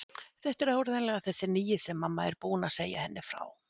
Þetta er áreiðanlega þessi nýi sem mamma er búin að segja henni frá.